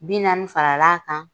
Bi naani fara l'a kan.